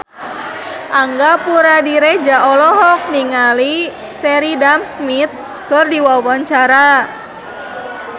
Angga Puradiredja olohok ningali Sheridan Smith keur diwawancara